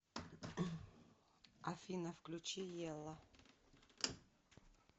афина включи елла